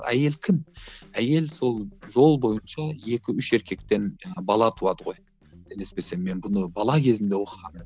әйел кім әйел сол жол бойынша екі үш еркектен бала туады ғой қателеспесем мен бұны бала кезімде оқығанмын